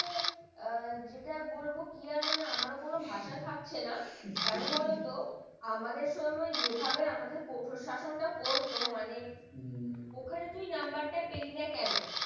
ও যেটা বলব কি আর মানে আমার কোন ভাষা থাকছে না কন বলতো আমাদের সময় যেভাবে আমাদের শাসান টা করত মানে হম ওখানে তুই number পেলি না কেন।